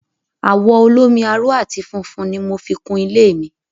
Àwọ̀ olómi-aró àti funfun ni mo fi kun ilé mi.